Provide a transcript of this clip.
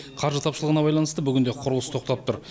қаржы тапшылығына байланысты бүгінде құрылыс тоқтап тұр